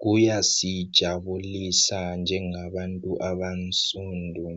kuyasijabulisa njengabantu abamsundu